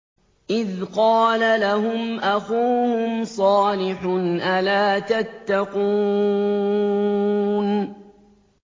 إِذْ قَالَ لَهُمْ أَخُوهُمْ صَالِحٌ أَلَا تَتَّقُونَ